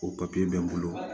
O papiye bɛ n bolo